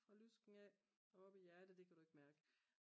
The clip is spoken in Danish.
fra lysken af og op i hjertet det kan du ikke mærke